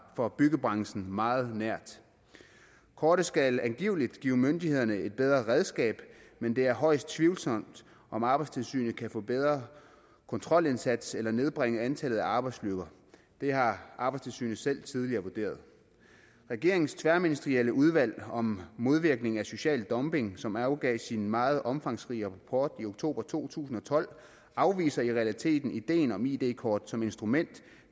for byggebranchen meget nært kortet skal angiveligt give myndighederne et bedre redskab men det er højst tvivlsomt om arbejdstilsynet kan få en bedre kontrolindsats eller nedbringe antallet af arbejdsulykker det har arbejdstilsynet selv tidligere vurderet regeringens tværministerielle udvalg om modvirkning af social dumping som afgav sin meget omfangsrige rapport i oktober to tusind og tolv afviser i realiteten ideen om id kort som instrument